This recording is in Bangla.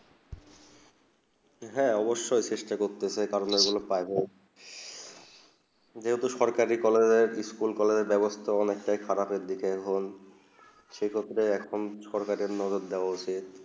হেঁ অবস চেষ্টা করতেছে কারণে যে গুলু সরকারি স্কুল কলেজ বেবস্তা অনেক খারাব এক দিকে এখন সেই ক্ষেত্রে এখন সরকারি মদদ দেব উচিত